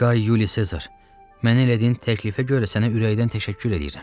Qay Yuli Sezar, mənə elədiyin təklifə görə sənə ürəkdən təşəkkür eləyirəm.